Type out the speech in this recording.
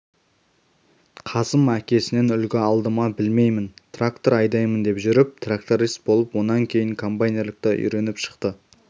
қасым әкесінен үлгі алды ма білмеймін трактор айдаймын деп жүріп тракторист болып онан кейін комбайнерлікті үйреніп шықты